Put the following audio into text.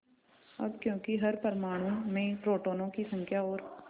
अब क्योंकि हर परमाणु में प्रोटोनों की संख्या और